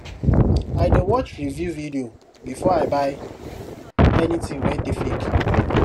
i dey watch review video before i buy anything wey dey fake